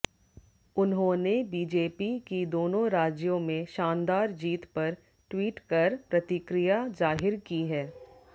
उन्होने बीजेपी की दोनों राज्यों में शानदार जीत पर ट्वीट कर प्रतिक्रिया जाहिर की है